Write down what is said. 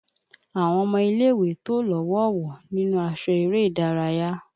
Àwọn ọmọ ilé ìwé tò lọ́wọ̀ọ̀wọ́ nínú aṣọ eré ìdárayá